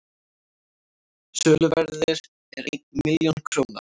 söluverðið er einn milljón króna